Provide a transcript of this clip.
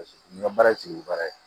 Paseke n ka baara sigi baara ye